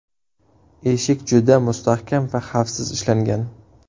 Eshik juda mustahkam va xavfsiz ishlangan.